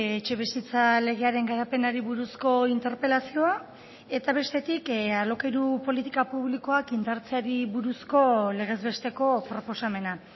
etxebizitza legearen garapenari buruzko interpelazioa eta bestetik alokairu politika publikoak indartzeari buruzko legez besteko proposamena